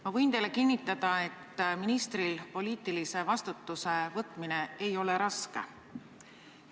Ma võin teile kinnitada, et ministril ei ole poliitilise vastutuse võtmine raske.